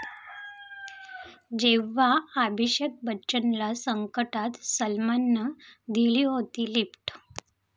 जेव्हा अभिषेक बच्चनला संकटात सलमाननं दिली होती लिफ्ट!